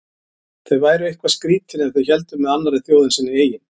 Þau væru eitthvað skrýtin ef þau héldu með annarri þjóð en sinni eigin.